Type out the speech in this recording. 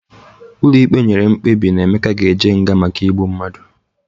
Ụlọ ikpe nyere mkpebi na Emeka ga-eje nga maka igbu mmadụ.